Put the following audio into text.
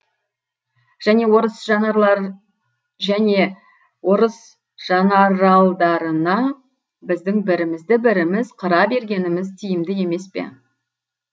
және орыс жанаралдарына біздің бірімізді біріміз қыра бергеніміз тиімді емес пе